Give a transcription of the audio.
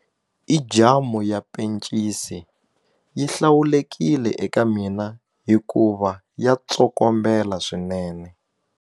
I jamu ya pencisi yi hlawulekile eka mina hikuva ya tsokombela swinene.